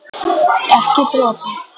Ekki dropa.